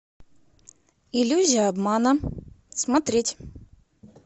иллюзия обмана смотреть